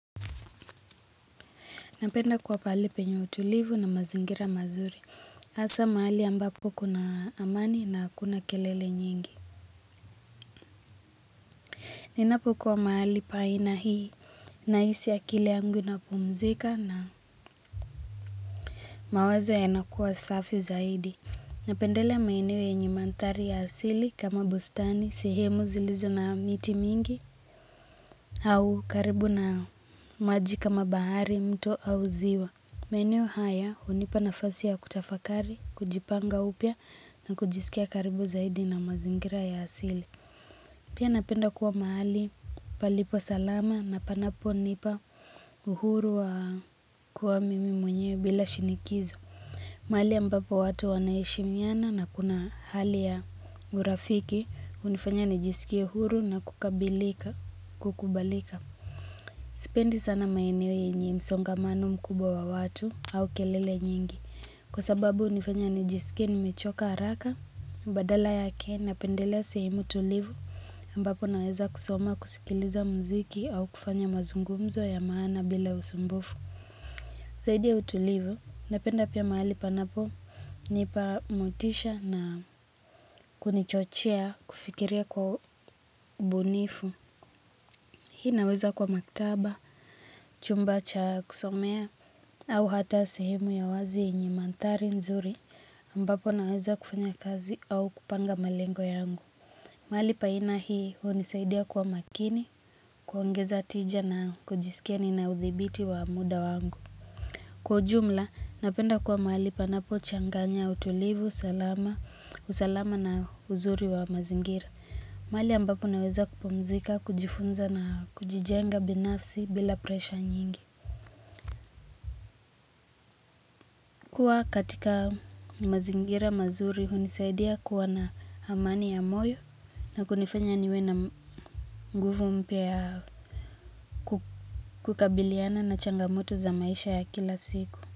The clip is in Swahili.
Napenda kuwa pahali penye utulivu na mazingira mazuri hasa mahali ambapo kuna amani na hakuna kelele nyingi Ninapokuwa mahali pa aina hii Nahisi akili yangu ina pumzika na mawazo ya nakuwa safi zaidi Napendelea maeneo yenye mandhari ya asili kama bustani sehemu zilizo na miti mingi au karibu na maji kama bahari mto au ziwa maeneo haya hunipa nafasi ya kutafakari, kujipanga upya na kujisikia karibu zaidi na mazingira ya asili. Pia napenda kuwa mahali palipo salama na panapo nipa uhuru wa kuwa mimi mwenyewe bila shinikizo. Mahali ambapo watu wanaheshimiana na kuna hali ya urafiki hunifanya nijisikie huru na kukabilika, kukubalika. Sipendi sana maeneo yenye msongamano mkubwa wa watu au kelele nyingi. Kwa sababu hunifanya nijisikie nimechoka haraka, badala yake na pendelea sehemu tulivu ambapo naweza kusoma kusikiliza mziki au kufanya mazungumzo ya maana bila usumbufu. Zaidi ya utulivu, napenda pia mahali panapo nipa motisha na kunichochea kufikiria kwa ubunifu. Hii inaweza kuwa maktaba, chumba cha kusomea, au hata sehemu ya wazi yenye mandhari nzuri ambapo naweza kufanya kazi au kupanga malengo yangu. Mahali pa aina hii hunisaidia kuwa makini, kuongeza tija na kujisikia nina uthibiti wa muda wangu. Kwa ujumla, napenda kuwa mahali panapo changanya utulivu, salama, usalama na uzuri wa mazingira. Mahali ambapo naweza kupumzika, kujifunza na kujijenga binafsi bila presha nyingi. Kuwa katika mazingira mazuri, hunisaidia kuwa na amani ya moyo na kunifanya niwe na nguvu mpya ya kukabiliana na changamoto za maisha ya kila siku.